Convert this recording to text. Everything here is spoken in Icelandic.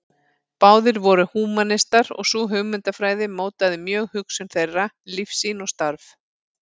Báðir voru húmanistar og sú hugmyndafræði mótaði mjög hugsun þeirra, lífssýn og starf.